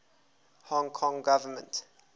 hong kong government